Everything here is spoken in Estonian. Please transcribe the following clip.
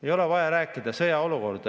Ei ole vaja rääkida sõjaolukorrast.